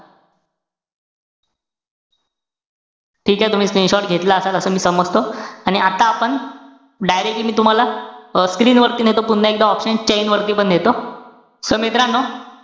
ठीकेय तुम्ही screenshot घेतला असेल, असं मी समजतो. आणि आता आपण, directly मी तुम्हाला अं screen वरती नेतो पुन्हा एकदा, option chain वरती पण नेतो. So मित्रांनो,